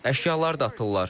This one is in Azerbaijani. Əşyalar da atırlar.